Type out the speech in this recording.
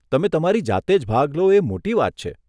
તમે તમારી જાતે જ ભાગ લો એ મોટી વાત છે.